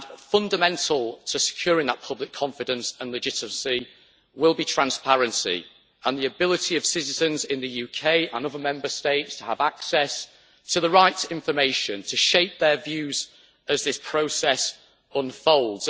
Fundamental to securing that public confidence and legitimacy will be transparency and the ability of citizens in the UK and other Member States to have access to the right information to shape their views as this process unfolds.